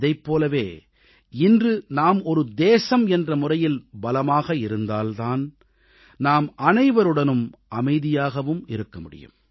இதைப் போலவே இன்று நாம் ஒரு தேசம் என்ற முறையில் பலமாக இருந்தால் தான் நாம் அனைவருடனும் அமைதியாகவும் இருக்க முடியும்